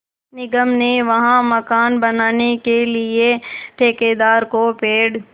निगम ने वहाँ मकान बनाने के लिए ठेकेदार को पेड़